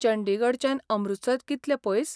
चंडीगढच्यान अमृतसर कितलें पयस?